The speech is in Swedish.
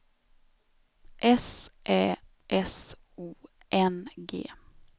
S Ä S O N G